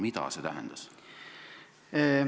Mida see tähendas?